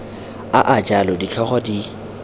a a jalo ditlhogo di